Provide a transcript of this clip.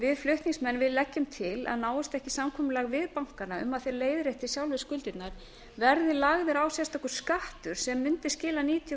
við flutningsmenn leggjum til að náist ekki samkomulag við bankana um að þeir leiðrétti sjálfir skuldirnar verði lagður á sérstakur skattur sem mundi skila níutíu